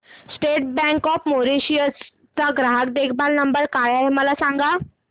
state bank of Mauritius चा ग्राहक देखभाल नंबर काय आहे मला सांगा